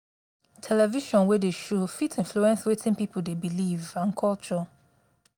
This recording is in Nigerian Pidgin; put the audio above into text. television wey dey show fit influence wetin people dey believe and culture.